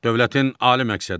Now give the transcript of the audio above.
Dövlətin ali məqsədi.